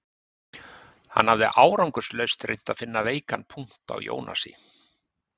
Hann hafði árangurslaust reynt að finna veikan punkt á Jónasi